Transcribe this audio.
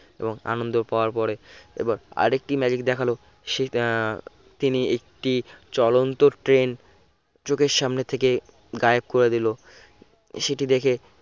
এবং আনন্দ পাওয়ার পরে এবার আরেকটি magic দেখালো সে উহ তিনি একটি চলন্ত train চোখের সামনে থেকে গায়েব করে দিল সেটি দেখে